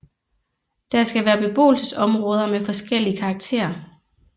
Der skal være beboelsesområder med forskellige karakter